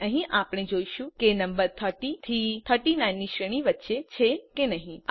અને અહીં આપણે જોઈશું કે નમ્બર 30 થી 39 ની શ્રેણી વચ્ચે છે કે નહિ